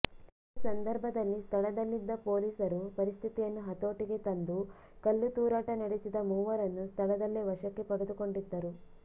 ಈ ಸಂದರ್ಭದಲ್ಲಿ ಸ್ಥಳದಲ್ಲಿದ್ದ ಪೊಲೀಸರು ಪರಿಸ್ಥಿತಿಯನ್ನು ಹತೋಟಿಗೆ ತಂದು ಕಲ್ಲು ತೂರಾಟ ನಡೆಸಿದ ಮೂವರನ್ನು ಸ್ಥಳದಲ್ಲೇ ವಶಕ್ಕೆ ಪಡೆದುಕೊಂಡಿದ್ದರು